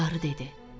Qarı dedi: